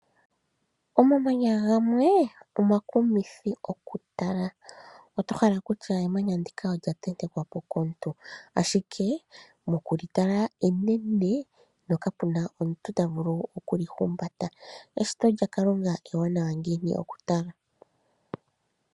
Omamanya gamwe omakumithi oku tala. Oto hala kutya emanya ndika olya tente kwapo komuntu, ashike mokulitala enene no kapuna omuntu ta vulu oku li humbata. Eshito lya kalunga ewanawa ngiini oku tala.